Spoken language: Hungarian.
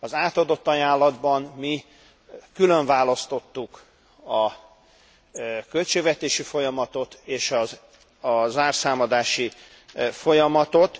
Az átadott ajánlatban mi különválasztottuk a költségvetési folyamatot és a zárszámadási folyamatot.